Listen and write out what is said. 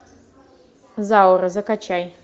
заура закачай